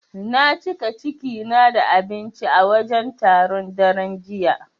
Na cika ciki na da abinci a wajen taron, daren jiya.